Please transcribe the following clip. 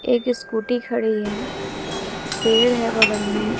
एक स्कूटी खड़ी है पेड़ है बगल में--